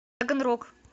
таганрог